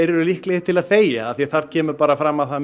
eru líklegir til að þegja því þar kemur fram að það